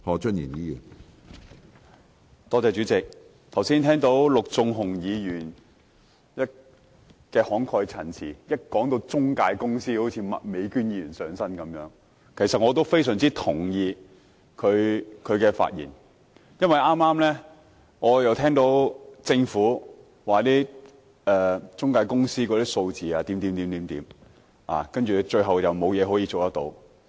剛才我聽到陸頌雄議員慷慨陳詞，一談到中介公司便好像麥美娟議員"上身"般，其實我非常認同他的發言，因為我剛剛聽到政府提及關於中介公司的數字後，最終卻表示沒有事可以做。